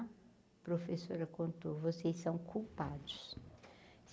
A professora contou, vocês são culpados.